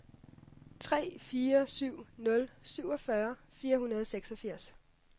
tre fire syv nul syvogfyrre fire hundrede og seksogfirs